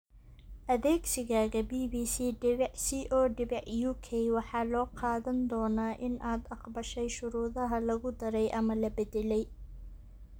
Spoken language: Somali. Adeegsigaaga bbc.co.uk waxa loo qaadan doonaa in aad aqbashay shuruudaha lagu daray ama la beddelay.